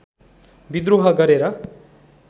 विद्रोह गरेर